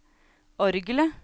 orgelet